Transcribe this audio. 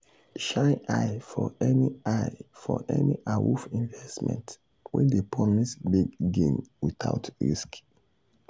shine eye for any eye for any awoof investment wey dey promise big gain without risk.